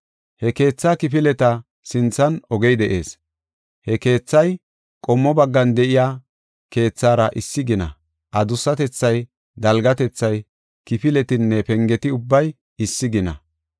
He keethaa kifileta sinthan ogey de7ees. He keethay qommo baggan de7iya keethara issi gina; adussatethay, dalgatethay, kifiletinne pengeti ubbay issi gina.